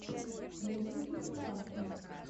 в ютьюбе степаша